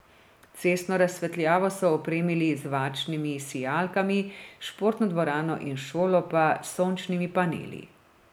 Cestno razsvetljavo so opremili z varčnimi sijalkami, športno dvorano in šolo pa s sončnimi paneli.